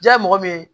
Ja ye mɔgɔ min ye